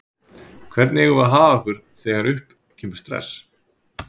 Hvernig eigum við að haga okkur þegar upp kemur stress?